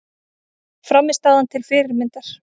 Frammistaðan til fyrirmyndar